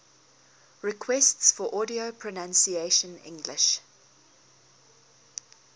requests for audio pronunciation english